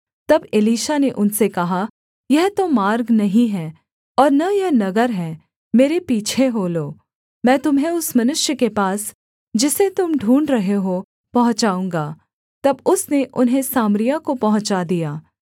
तब एलीशा ने उनसे कहा यह तो मार्ग नहीं है और न यह नगर है मेरे पीछे हो लो मैं तुम्हें उस मनुष्य के पास जिसे तुम ढूँढ़ रहे हो पहुँचाऊँगा तब उसने उन्हें सामरिया को पहुँचा दिया